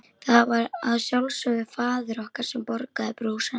Það var að sjálfsögðu faðir okkar sem borgaði brúsann.